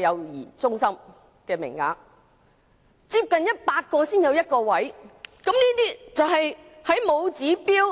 幼兒中心名額，要接近100個人才有1個名額。